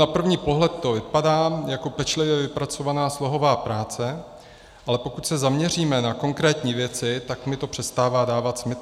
Na první pohled to vypadá jako pečlivě vypracovaná slohová práce, ale pokud se zaměříme na konkrétní věci, tak mi to přestává dávat smysl.